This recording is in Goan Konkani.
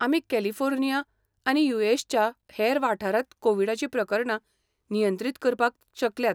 आमी कॅलिफोर्निया आनी यू.एस. च्या हेर वाठारांत कोविडाची प्रकरणां नियंत्रीत करपाक शकल्यात.